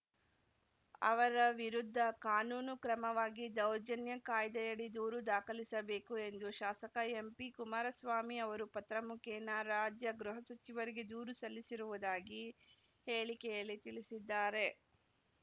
ಅವರ ವಿರುದ್ಧ ಕಾನೂನು ಕ್ರಮವಾಗಿ ದೌರ್ಜನ್ಯ ಕಾಯ್ದೆಯಡಿ ದೂರು ದಾಖಲಿಸಬೇಕು ಎಂದು ಶಾಸಕ ಎಂಪಿ ಕುಮಾರಸ್ವಾಮಿ ಅವರು ಪತ್ರ ಮುಖೇನ ರಾಜ್ಯ ಗೃಹ ಸಚಿವರಿಗೆ ದೂರು ಸಲ್ಲಿಸಿರುವುದಾಗಿ ಹೇಳಿಕೆಯಲ್ಲಿ ತಿಳಿಸಿದ್ದಾರೆ